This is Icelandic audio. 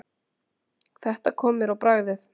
Þetta kom mér á bragðið.